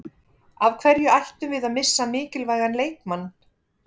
Af hverju ættum við að missa mikilvægan leikmann?